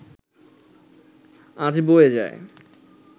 আজ বয়ে যায়